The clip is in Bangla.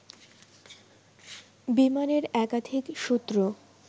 বিমানের একাধিক সূত্র